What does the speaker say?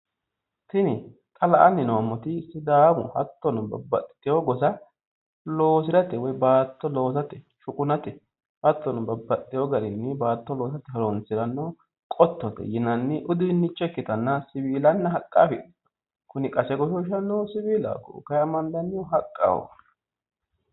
Tini xa la'anni noommoti sidaamu hattono baxxitewo gosa loosirate baatto loosate shuqunate hattono baatto babbaxxitewo loosirate horonsiranno qottote yinanni uduunnicho ikkitanna siwiialanna haqqa afidhino. kuni qase goshooshannohu siwiilaho kayinni qase amadannohu haqqaho.